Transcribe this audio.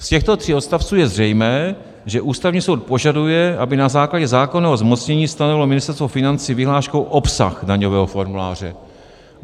Z těchto tří odstavců je zřejmé, že Ústavní soud požaduje, aby na základě zákonného zmocnění stanovilo Ministerstvo financí vyhláškou obsah daňového formuláře.